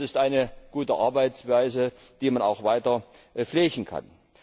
Das ist eine gute Arbeitsweise, die man auch weiter pflegen kann.